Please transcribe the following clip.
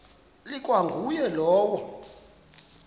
ikwa nguye lowo